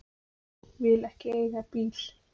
Vil ekki eiga bíl.